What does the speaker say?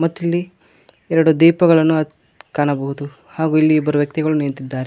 ಇಲ್ಲಿ ಎರಡು ದೀಪಗಳನ್ನು ಹ ಕಾಣಬಹುದು ಹಾಗು ಇಲ್ಲಿ ಇಬ್ಬರು ವ್ಯಕ್ತಿಗಳು ನಿಂತಿದ್ದಾರೆ.